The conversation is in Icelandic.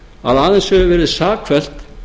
að aðeins hefur verið sakfellt